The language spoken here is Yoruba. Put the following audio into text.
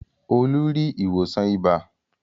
Olú rí ìwòsàn ibà.